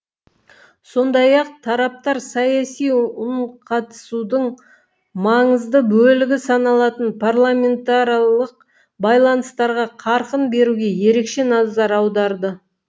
сондай ақ тараптар саяси үнқатысудың маңызды бөлігі саналатын парламентаралық байланыстарға қарқын беруге ерекше назар аударды